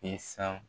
I san